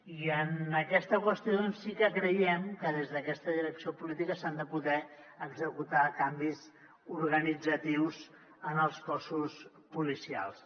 i en aquesta qüestió doncs sí que creiem que des d’aquesta direcció política s’han de poder executar canvis organitzatius en els cossos policials